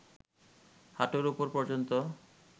হাঁটুর উপর পর্যন্ত